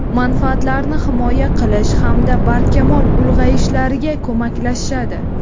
manfaatlarini himoya qilish hamda barkamol ulg‘ayishlariga koʼmaklashadi.